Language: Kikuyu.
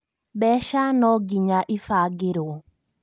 Mbeca nonginya ibagĩrwo